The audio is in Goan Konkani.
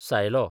सायलो